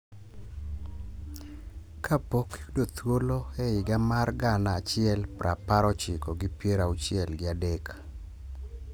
Kapok yudo thuolo e higa mar gana achiel prapar ochiko gi piero auchiel gi adek,